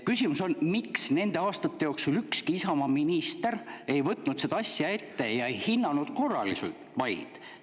Küsimus on, miks nende aastate jooksul ükski Isamaa minister ei võtnud seda asja ette ega hinnanud korraliselt maid.